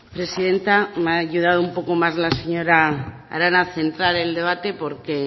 presidenta me ha ayudado un poco más la señora arana a centrar el debate porque